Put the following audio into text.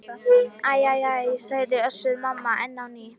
Æ æ æ, sagði Össur-Mamma enn á ný.